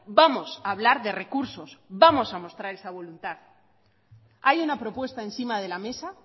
vamos a hablar de recursos vamos a mostrar esa voluntad hay una propuesta encima de la mesa